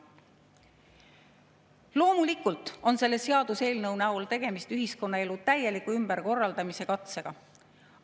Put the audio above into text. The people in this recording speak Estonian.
Loomulikult on selle seaduseelnõu näol tegemist ühiskonnaelu täieliku ümberkorraldamise katsega.